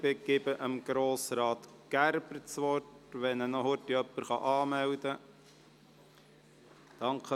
Ich gebe Grossrat Gerber das Wort, sofern ihn jemand rasch für die Rednerliste anmeldet.